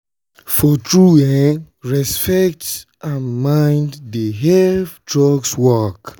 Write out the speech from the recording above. for true en um respect and mind dey help drugs work.